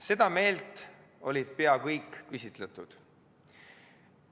Seda meelt on olnud pea kõik küsitletud.